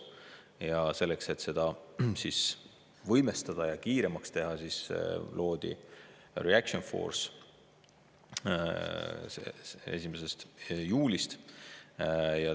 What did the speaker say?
Ja selleks, et seda võimestada ja kiiremaks teha, loodi 1. juulil Reaction Force.